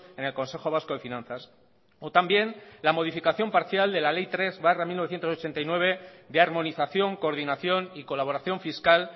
en el consejo vasco de finanzas o también la modificación parcial de la ley tres barra mil novecientos ochenta y nueve de armonización coordinación y colaboración fiscal